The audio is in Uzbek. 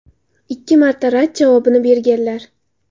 Ikki marta rad javobini berganlar.